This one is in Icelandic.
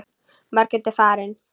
Margrét er farin.